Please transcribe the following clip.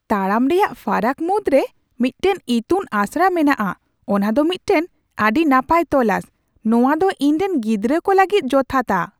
"ᱛᱟᱲᱟᱢ ᱨᱮᱭᱟᱜ ᱯᱷᱟᱨᱟᱠ ᱢᱩᱫᱽᱨᱮ ᱢᱤᱫᱴᱟᱝ ᱤᱛᱩᱱ ᱟᱥᱲᱟ ᱢᱮᱱᱟᱜᱼᱟ ᱚᱱᱟ ᱫᱚ ᱢᱤᱫᱴᱟᱝ ᱟᱹᱰᱤ ᱱᱟᱯᱟᱭ ᱛᱚᱞᱟᱥ ᱾ ᱱᱚᱶᱟ ᱫᱚ ᱤᱧ ᱨᱮᱱ ᱜᱤᱫᱽᱨᱟᱹ ᱠᱚ ᱞᱟᱹᱜᱤᱫ ᱡᱚᱛᱷᱟᱛᱟ ᱾"